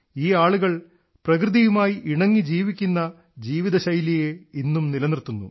ഈ ആളുകൾ പ്രകൃതിയുമായി ഇണങ്ങി ജീവിക്കുന്ന ജീവിതശൈലിയെ ഇന്നും നിലനിർത്തുന്നു